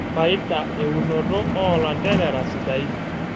Faida eunoto oolanterera sidain.